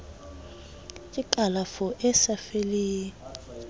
ke kalafo e sa fellang